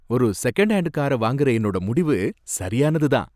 ஒரு second hand கார வாங்குற என்னோட முடிவு சரியானதுதான்.